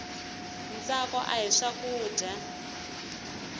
ntsako ahi swakudya